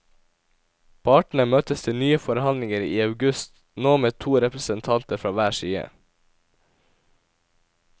Partene møttes til nye forhandlinger i august, nå med to representanter fra hver side.